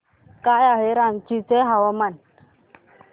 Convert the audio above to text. काय आहे रांची चे तापमान